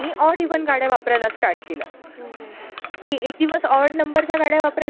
असलेल्या भारतवर्षाचा उल्लेख आढळतो. कौरव आणि पांडवांमधील कौटुंबिक वैर आणि त्यामुळे त्यांच्यामध्ये झालेले महायुद्ध